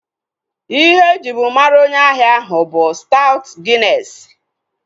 Ihe ejibu mara onye ahia ahu bụ staut ginesi